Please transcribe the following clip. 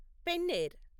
పెన్నెర్